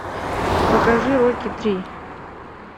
покажи рокки три